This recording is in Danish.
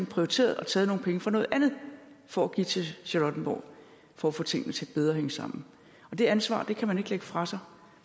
prioriteret og taget nogle penge fra noget andet for at give til charlottenborg for at få tingene til at hænge bedre sammen det ansvar kan man ikke lægge fra sig